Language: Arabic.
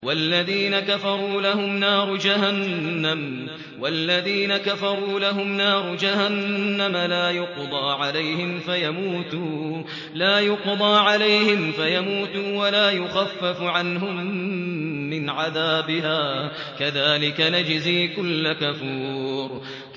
وَالَّذِينَ كَفَرُوا لَهُمْ نَارُ جَهَنَّمَ لَا يُقْضَىٰ عَلَيْهِمْ فَيَمُوتُوا وَلَا يُخَفَّفُ عَنْهُم مِّنْ عَذَابِهَا ۚ كَذَٰلِكَ نَجْزِي كُلَّ كَفُورٍ